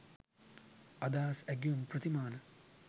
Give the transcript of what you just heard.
අදහස් ඇගයුම් ප්‍රතිමාන